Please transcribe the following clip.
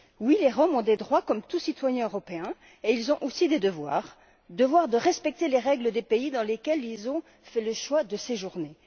Oui, les Roms ont des droits comme tout citoyen européen et ils ont aussi des devoirs, notamment le devoir de respecter les règles des pays dans lesquels ils ont fait le choix de séjourner.